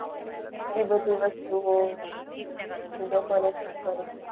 જુદી જુદી વસ્તુ હોય decoration કરવા